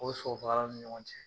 O ni ɲɔgɔn cɛ.